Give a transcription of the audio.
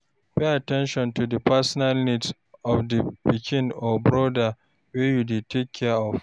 Pay at ten tion to di personal needs of di pikin or broda wey you dey take care of